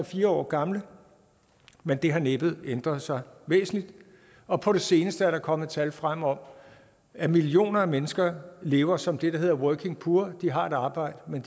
fire år gamle men det har næppe ændret sig væsentligt og på det seneste er der kommet tal frem om at millioner af mennesker lever som det der hedder working poor altså at de har et arbejde men